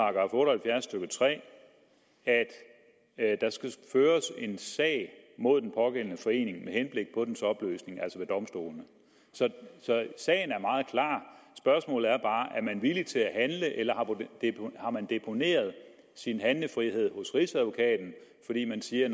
halvfjerds stykke tre at der skal føres en sag mod den pågældende forening med henblik på dens opløsning ved domstolene så sagen er meget klar spørgsmålet er bare er man villig til at handle eller har man deponeret sin handlefrihed hos rigsadvokaten fordi man siger